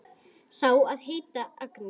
Sá á að heita Agnes.